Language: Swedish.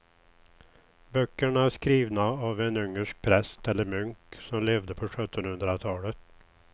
Böckerna är skrivna av en ungersk präst eller munk som levde på sjuttonhundratalet.